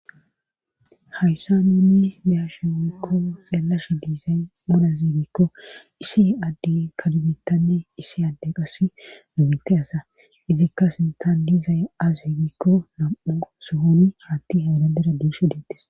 Hayssa nuunni beyashe wurikko xeelasha diizay mulazimikko isi adde kalbitanne issi adde qas numite asa izikka sinthan diizay az imikko nam'u sohoni haatti haadadera diishi deettes.